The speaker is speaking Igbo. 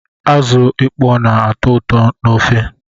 Azụ ịkpọ na-atọ ụtọ n'ofe